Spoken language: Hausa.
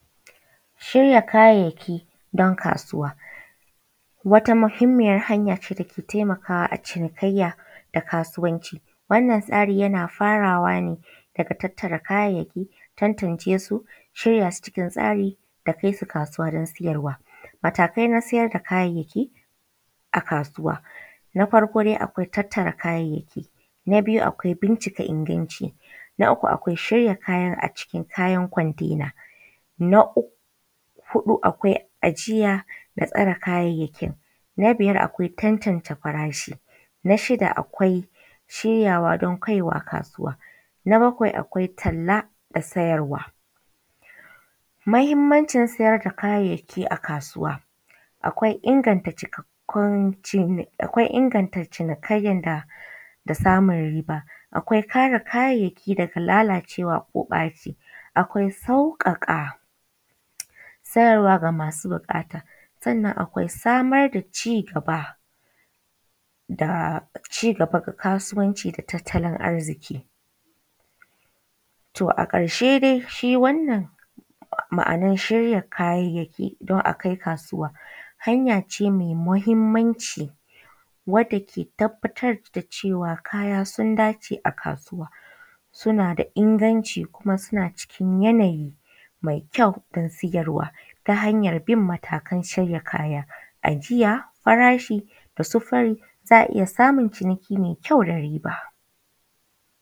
Shirya kayayyaki don kasuwa. Wata muhimmiyar hanya ce ta ke taimakawa a cinikayya da kasuwanci wannan tsari yana farawa ne daga tattara kayayyaki, tantance su, shirya su cikin tsari da kai su kasuwa don siyarwa. Matakai na siyar da kayayyaki a kasuwa, na farko dai akwai tattara kayayyaki na biyu akwai bincika inganci, na uku akwai shirya kayan a cikin kayan container, na uk huɗu akwai ajiya da tsare kayayyakin, na biyar akwai tantance farashi, na shida akwai shiryawa don kaiwa kasuwa, na bakwai akwai talla da sayarwa. Muhimmancin sayar da kayayyaki a kasuwa akwai inganta cikakkun cin akwai inganta cinikayyaa da samun riba, akwai kare kayayyaki daga lalacewa ko ɓaci, akwai sauƙaƙa sayarwa ga masu buƙata, sannan akwai samar da ci gaba da cigaba da kasuwanci da tattalin arziƙi. Toh a ƙarshe dai shi wannan ma’anar shirya kayayyaki don a kai kasuwa hanya ce mai muhimmanci wadda ke tabbbatar da cewa kaya sun dace a kasuwa suna da inganci kum suna cikin yanayi mai kyau don siyarwa ta hanyar bin matakan shirya kaya ajiya, farashi, sufari za a iya samun ciniki mai kyau da riba.